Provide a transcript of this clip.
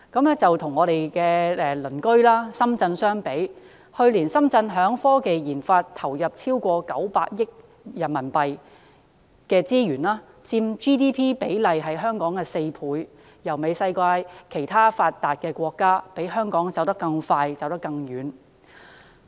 與我們鄰近的深圳相比，去年深圳在科技研發投入超過900億元人民幣，佔 GDP 比例是香港的4倍，媲美世界其他發達國家，比香港走得更快、更遠。